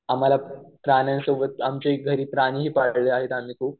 आणि आम्हाला प्राण्यांसोबत आमच्या घरी आम्ही प्राणी ही पाळले आहेत खूप